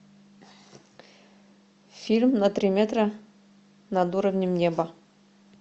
фильм на три метра над уровнем неба